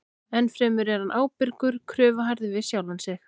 Ennfremur er hann ábyrgur og kröfuharður við sjálfan sig.